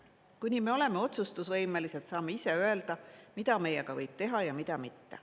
Kuni me oleme otsustusvõimelised, saame ise öelda, mida meiega võib teha ja mida mitte.